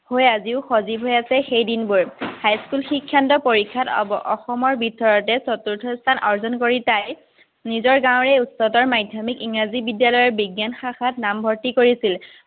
হৈ আজিও সজীৱ হৈ আছে, সেইদিনবোৰ। হাইস্কুল শিক্ষান্ত পৰীক্ষাত অসমৰ ভিতৰতে চতুৰ্থ স্থান অৰ্জন কৰি তাই নিজৰ গাঁৱৰে উচ্চতৰ মাধ্যমিক ইংৰাজী বিদ্যালয়ৰ বিজ্ঞান শাখাত নামভৰ্তি কৰিছিল।